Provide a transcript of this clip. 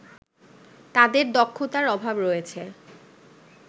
তাদের দক্ষতার অভাব রয়েছে